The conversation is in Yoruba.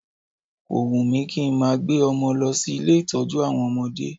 Ko wùn mí kí n máa gbé ọmọ lọ sí ilé ìtọ́jú àwọn ọmọdé